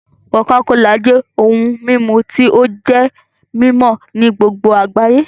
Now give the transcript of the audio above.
cocacola jẹ ohùn mímú tí o jé mimọ ní gbogbo agbayé